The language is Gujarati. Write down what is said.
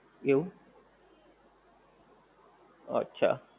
એવું! અચ્છા.